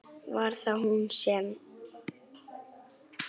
Var það hún sem.?